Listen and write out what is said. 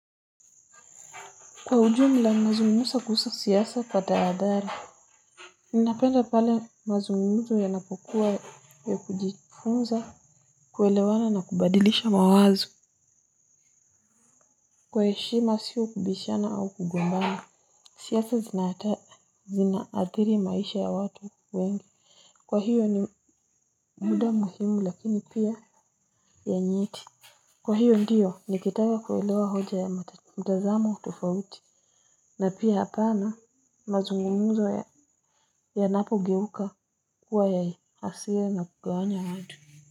Kwa ujumla mazungumzo kuhusa siasa kwa tahadhari. Ninapenda pale mazungumzo yanapokua ya kujifunza, kuelewana na kubadilisha mawazo kwa heshima sio kubishana au kugombana. Siasa zinaathiri maisha ya watu wengi. Kwa hiyo ni muda muhimu lakini pia ya nyeti. Kwa hiyo ndiyo nikitaka kuelewa hoja ya mtazamo tofauti. Na pia hapana mazungumzo yanapogeuka kuwa ya hasira na kugawanya natu.